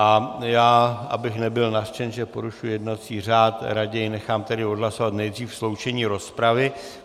A já, abych nebyl nařčen, že porušuji jednací řád, raději nechám tedy odhlasovat nejdřív sloučení rozpravy.